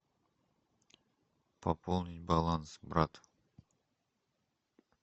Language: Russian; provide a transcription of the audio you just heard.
пополнить баланс брата